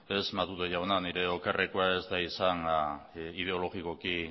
ez matute jauna nire okerrekoa ez da izan ideologikoki